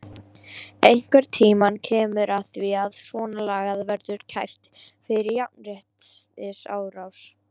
Einhvern tímann kemur að því að svona lagað verður kært fyrir jafnréttisráði.